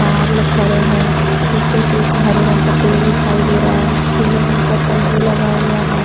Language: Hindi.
बाहर लोग खड़े है पीछे भी हरे रंग का पेड़ दिखाई दे रहा है पीले रंग का तंबू लगा हुआ है।